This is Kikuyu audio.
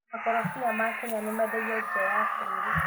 Makorobia ma Kenya mendagio nja ya bũrũri.